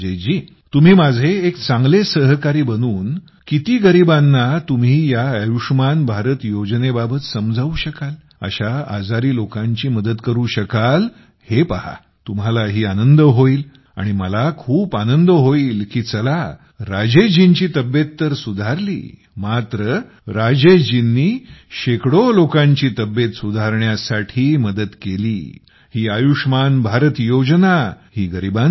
तर मग राजेशजी तुम्ही माझे एक चांगले सहकारी बनून किती गरीबांना तुम्ही या आयुष्मान भारत योजने बाबत समजावू शकाल अशा आजारी लोकांची मदत करू शकाल हे पहा तुम्हालाही आनंद होईल आणि मला खूप आनंद होईल कि चला राजेशजींची तब्येत तर सुधारली मात्र राजेशजींनी शेकडो लोकांची तब्येत सुधारण्यात मदत केली ही आयुष्मान भारत योजना ही